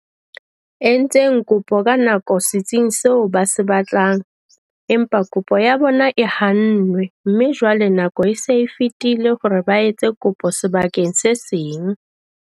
Entseng kopo ka nako setsing seo ba se batlang, empa kopo ya bona e hannwe mme jwale nako e se e fetile hore ba etse kopo sebakeng se seng.